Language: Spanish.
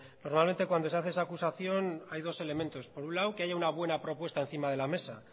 probablemente cuando se hace esa acusación hay dos elementos por un lado que haya una buena propuesta encima de la mesa